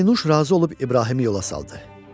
Pərinüş razı olub İbrahimi yola saldı.